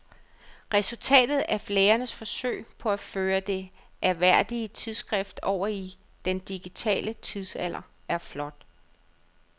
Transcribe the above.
Resultatet af lægernes forsøg på at føre det ærværdige tidsskrift over i den digitale tidsalder er flot.